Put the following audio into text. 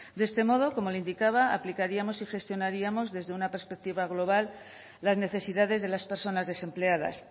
de este modo como le indicaba aplicaríamos y gestionaríamos desde una perspectiva global las necesidades de las personas desempleadas